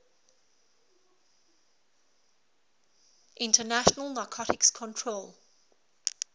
international narcotics control